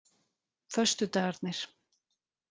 föstudagarnir